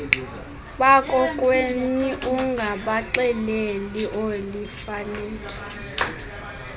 bakokwenu ungabaxeleli oolifalethu